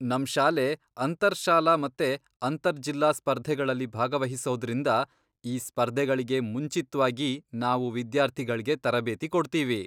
ನಮ್ ಶಾಲೆ ಅಂತರ್ ಶಾಲಾ ಮತ್ತೆ ಅಂತರ್ ಜಿಲ್ಲಾ ಸ್ಪರ್ಧೆಗಳಲ್ಲಿ ಭಾಗವಹಿಸೋದ್ರಿಂದ, ಈ ಸ್ಪರ್ಧೆಗಳ್ಗೆ ಮುಂಚಿತ್ವಾಗಿ ನಾವು ವಿದ್ಯಾರ್ಥಿಗಳ್ಗೆ ತರಬೇತಿ ಕೊಡ್ತೀವಿ.